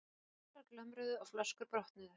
Gafflar glömruðu og flöskur brotnuðu.